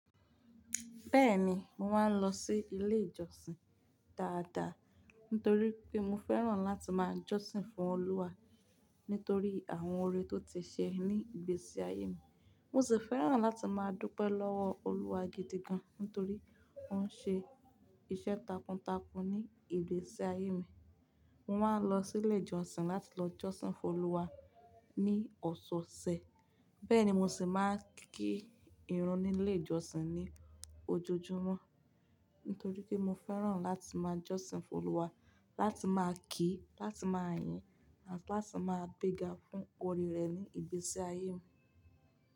Bẹ́ẹ̀ni, mo máa ń lọ sí ilé ìjọsìn dáadáa nítorí pé mo fẹ́ràn láti máa jọ́sìn fún Olúwa nítorí àwọn oore tó ti ṣe ní ìgbésí ayé mi. Mo sì fẹ́ràn láti máa dúpẹ́ lọ́wọ́ Olúwa gidi gan nítorí ó ń ṣe iṣẹ́ takuntakun ní ìgbésí ayé mi. Mo máa ń lọ sí ilé ìjọsìn láti lọ jọ́sìn fún Olúwa ní ọ̀sọ̀ọ̀sẹ̀. Bẹ́ẹ̀ ni mo sì máa ń kí ìrun ní ilé ìjọsìn ní ojoojúmọ́ nítorí pé mo fẹ́ràn láti máa jọ́sìn fún Olúwa, láti máa kí, láti máa yìn àti láti máa gbega fún oore rẹ̀ ní ìgbésí ayé mi.